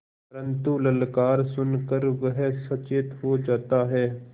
परन्तु ललकार सुन कर वह सचेत हो जाता है